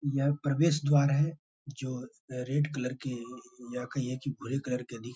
यह प्रवेश द्वार है जो रेड कलर की या कहिए की भूरे कलर के भी --